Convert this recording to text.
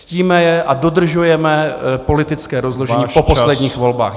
Ctíme je a dodržujeme politické rozložení po posledních volbách.